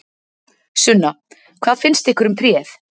Sunna: Hvað finnst ykkur um tréð?